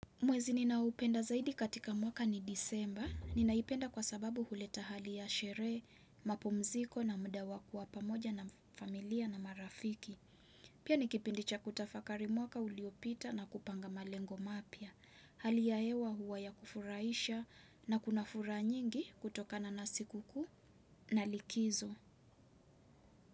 Mwezi ninaupenda zaidi katika mwaka ni disemba. Ninaipenda kwa sababu huleta hali ya sherehe, mapumziko na muda wa kuwa pamoja na familia na marafiki. Pia ni kipindi cha kutafakari mwaka uliopita na kupanga malengo mapya. Hali ya hewa huwa ya kufurahisha na kuna furaha nyingi kutokana na siku kuu na likizo.